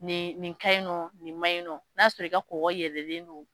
Nin nin kaɲi nɔ nin maɲi nɔ n'a sɔrɔ i ka kɔgɔ yɛlɛlen don